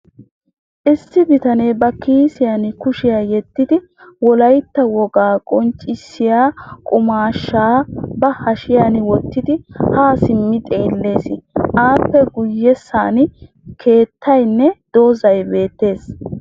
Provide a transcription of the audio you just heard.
Issi bitanee ba kiisiyan kushiya yeddidi wolayitta wogaa qonccissiya qumaashshaa ba hashiyan wottidi haa simmi xeelles. Appe guyyessan keettayinne dozzay beettes.